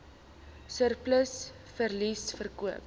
surplus verliese verkoop